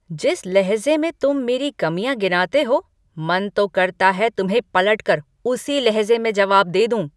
जिस लहज़े में तुम मेरी कमियाँ गिनाते हो, मन तो करता है तुम्हें पलटकर उसी लहज़े में जवाब दे दूँ।